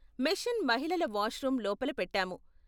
Machine మహిళల washroom లోపల పెట్టాము.